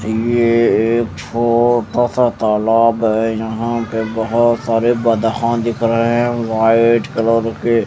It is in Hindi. ये एक छोटा सा तालाब हें यहा पे बोहोत सारे गधा दिख रहे हें वाइट कलर के --